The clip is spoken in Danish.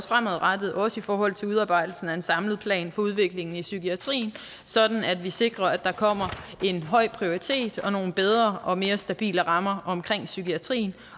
fremadrettet også i forhold til udarbejdelsen af en samlet plan for udviklingen i psykiatrien sådan at vi sikrer at der kommer en høj prioritering og nogle bedre og mere stabile rammer omkring psykiatrien